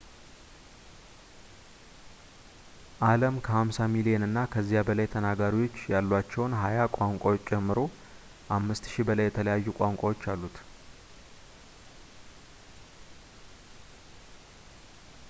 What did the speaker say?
አለም ከ 50 ሚሊዮን እና ከዚያ በላይ ተናጋሪዎች ያሏቸውን ሀያ ቋንቋዎች ጨምሮ 5,000 በላይ የተለያዩ ቋንቋዎች አሉት